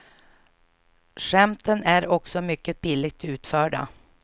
Skämten är också mycket billigt utförda.